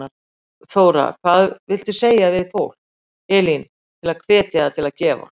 Þóra: Hvað viltu segja við fólk, Elín, til að hvetja það til að gefa?